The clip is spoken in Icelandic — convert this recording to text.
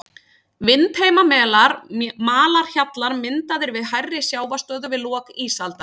Vindheimamelar, malarhjallar myndaðir við hærri sjávarstöðu við lok ísaldar.